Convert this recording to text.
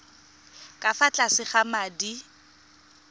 ka fa tlase ga madi